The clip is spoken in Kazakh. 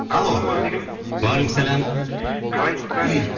уағалейкумассалям қалайсыздар